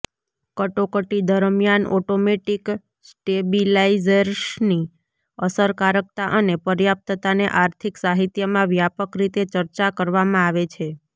કટોકટી દરમિયાન ઓટોમેટિક સ્ટેબિલાઇઝર્સની અસરકારકતા અને પર્યાપ્તતાને આર્થિક સાહિત્યમાં વ્યાપક રીતે ચર્ચા કરવામાં આવે છે